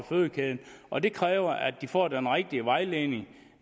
fødekæden og det kræver at de får den rigtige vejledning